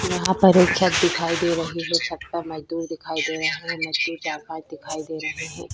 यहाँ पर एक छत दिखाई दे रही है छत पर मजदूर दिखाई दे रहा है मजदूर चार पांच दिखाई दे रहे है ।